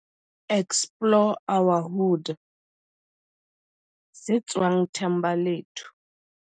Explore our Hood, se tswang Thembalethu.